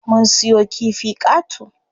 Mun siyo kifi qato.